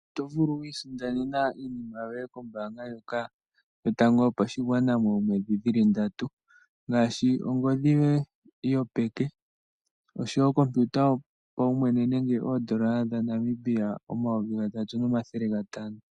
Oto vulu oku isindanena iinima yoye kombaanga ndjoka yotango yopashigwana moomwedhi dhili ndatu, ngaashi ongodhi yoye yopeke, oshowo okompiuta yopaumwene, nenge oondola dhaNamibia omayovi gatatu nomathele gatano.